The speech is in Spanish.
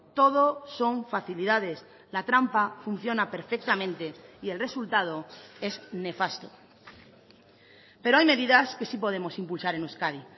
todo son facilidades la trampa funciona perfectamente y el resultado es nefasto pero hay medidas que sí podemos impulsar en euskadi